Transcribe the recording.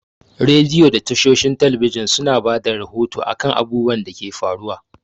Rediyo da tashoshin talabijan su na bada rahoto a kan abubuwan da ke faruwa